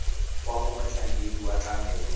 kwa go motlhankedi wa tlamelo